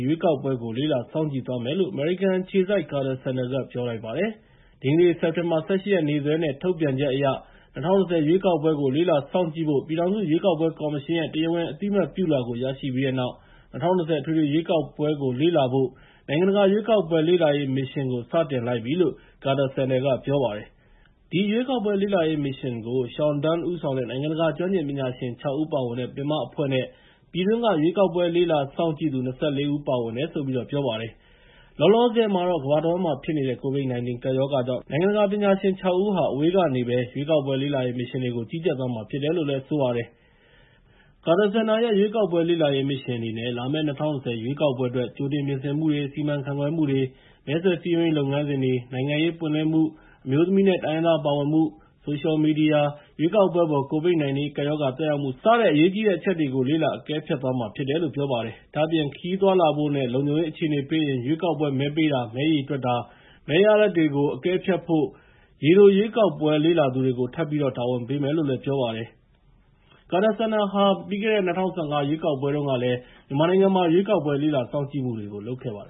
ရွေးကောက်ပွဲကို လေ့လာစောင့်ကြည့်သွားမယ်လို့ အမေရိကန်အခြေစိုက် ကာတာစင်တာက ပြောလိုက်ပါတယ်။ ဒီကနေ့ စက်တင်ဘာ ၁၈ ရက်နေ့စွဲနဲ့ ထုတ်ပြန်ချက်အရ ၂၀၂၀ ရွေးကောက်ပွဲကို လေ့လာစောင့်ကြည့်ဖို့ ပြည်ထောင်စု ရွေးကောက်ပွဲကော်မရှင်ရဲ့ တရားဝင်အသိအမှတ်ပြုလွှာကို ရရှိပြီးတဲ့နောက် ၂၀၂၀ အထွေထွေရွေးကောက်ပွဲကို လေ့လာဖို့ နိုင်ငံတကာရွေးကောက်ပွဲလေ့လာရေးမစ်ရှင်ကို စတင်လိုက်ပြီလို့ ကာတာစင်တာက ပြောပါတယ်။ ဒီရွေးကောက်ပွဲလေ့လာရေးမစ်ရှင်ကို Sean Dunne ဦးဆောင်တဲ့ နိုင်ငံတကာ ကျွမ်းကျင်ပညာရှင် ၆ ဦး ပါဝင်တဲ့ ပင်မအဖွဲ့နဲ့ ပြည်တွင်းက ရွေးကောက်ပွဲလေ့လာစောင့်ကြည့်သူ ၂၄ ဦးပါဝင်တယ်လို့ ပြောပါတယ်။ လောလောဆယ်မှာတော့ ကမ္ဘာတဝန်းမှာဖြစ်နေတဲ့ ကိုဗစ် ၁၉ ကပ်ရောဂါကြောင့် နိုင်ငံတကာက ပညာရှင် ၆ ဦးက အဝေးကနေပဲ ရွေးကောက်ပွဲလေ့လာရေးမစ်ရှင်တွေကို ကြီးကြပ်သွားမှာဖြစ်တယ်လို့ ပြောပါတယ်။ ကာတာစင်တာရဲ့ ရွေးကောက်ပွဲလေ့လာရေးမစ်ရှင်အနေနဲ့ လာမယ့် ၂၀၂၀ ရွေးကောက်ပွဲအတွက် ကြိုတင်ပြင်ဆင်မှုတွေ စီမံခန့်ခွဲမှုတွေ၊ မဲဆွယ်စည်းရုံးရေးလုပ်ငန်းစဉ်တွေ၊ နိုင်ငံရေးပွင့်လင်းမှု၊ အမျိုးသမီးနဲ့ တိုင်းရင်းသားပါဝင်မှု၊ ဆိုရှယ်မီဒီယာ၊ ရွေးကောက်ပွဲအပေါ် ကိုဗစ် ၁၉ ကပ်ရောဂါသက်ရောက်မှု စတဲ့ အရေးကြီးတဲ့အချက်တွေကို လေ့လာအကဲဖြတ်သွားမှာဖြစ်တယ်လို့ ပြောပါတယ်။ ဒါ့အပြင် ခရီးသွားလာဖို့ နဲ့လုံခြုံရေး အခြေအနေပေးရင် ရွေးကောက်ပွဲ မဲပေးတာ၊ မဲရေတွက်တာနဲ့ မဲရလဒ်တွေကို အကဲဖြတ်ဖို့ ရေတိုရွေးကောက်ပွဲလေ့လာသူတွေကို ထပ်ပြီး တာဝန်ပေးမယ်လို့ ပြောပါတယ်။ ကာတာစင်တာဟာ ပြီးခဲ့တဲ့ ၂၀၁၅ အထွေထွေရွေးကောက်ပွဲတုန်းကလည်း ရွေးကောက်ပွဲလေ့လာစောင့်ကြည့်မှုတွေကို လုပ်ခဲ့ပါတ